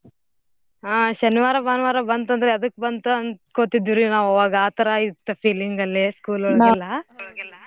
ಹಾ ಶನಿವಾರ ಭಾನುವಾರ ಬಂತದ್ರ ಎದ್ಕ ಬಂತ ಅನ್ಸ್ಕೋತಿದ್ವಿ ನಾವ್ ಆವಾಗಾ ಆ ತರಾ ಇತ್ತು feeling ಅಲ್ಲೇ school .